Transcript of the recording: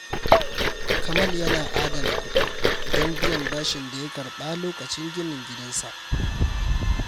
Kamal yana adana kudi don biyan bashin da ya karɓa lokacin ginin gidansa.